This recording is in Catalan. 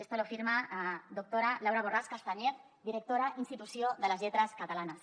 esto lo firma doctora laura borràs castanyer directora institució de les lletres catalanes